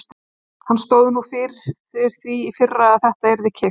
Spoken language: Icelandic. Hann stóð nú fyrir því í fyrra að þetta yrði keypt.